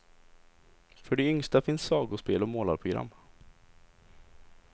För de yngsta finns sagospel och målarprogram.